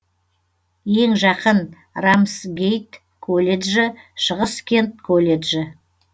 ең жақын рамсгейт колледжі шығыс кент колледжі